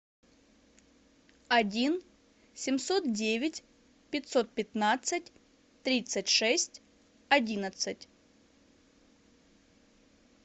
один семьсот девять пятьсот пятнадцать тридцать шесть одиннадцать